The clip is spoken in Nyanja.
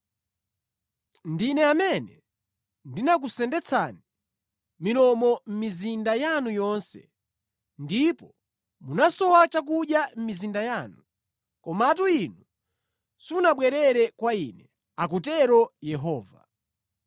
“Ndine amene ndinakusendetsani milomo mʼmizinda yanu yonse, ndipo munasowa chakudya mʼmizinda yanu. Komatu inu simunabwerere kwa Ine,” akutero Yehova.